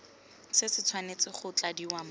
se tshwanetse go tladiwa mo